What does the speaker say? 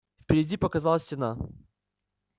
впереди показалась стена